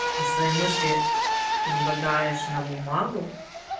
и свои мысли излагаешь на бумагу